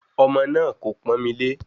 Ọmọ náà kò pọ́n mi lé